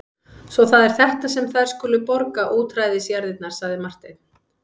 Svo það er þetta sem þær skulu borga útræðisjarðirnar, sagði Marteinn.